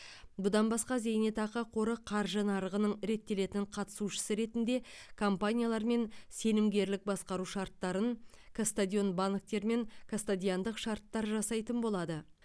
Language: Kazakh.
бұдан басқа зейнетақы қоры қаржы нарығының реттелетін қатысушысы ретінде компаниялармен сенімгерлік басқару шарттарын кастодиан банктермен кастодиандық шарттар жасайтын болады